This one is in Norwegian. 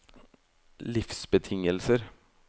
livsbetingelser